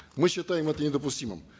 мы считаем это недопустимым